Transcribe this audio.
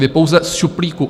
Vy pouze z šuplíku